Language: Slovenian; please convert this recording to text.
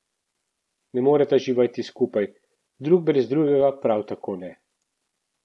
Ne moreta živeti skupaj, drug brez drugega prav tako ne.